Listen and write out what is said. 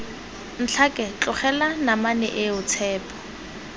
ntlhake tlogela namane eo tshepo